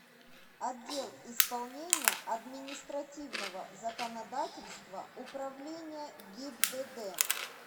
отдел исполнения административного законодательства управления гибдд